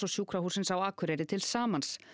Sjúkrahússins á Akureyri til samans